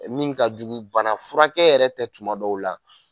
Min ka jugu bana furakɛ yɛrɛ tɛ tuma dɔw la